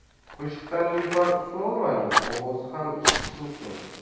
Qo‘shiqda Nilufar Usmonovaning ovozi ham eshitish mumkin.